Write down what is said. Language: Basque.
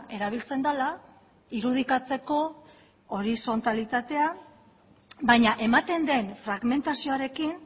erabiltzen dela irudikatzeko horizontalitatea baina ematen den fragmentazioarekin